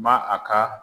Ma a ka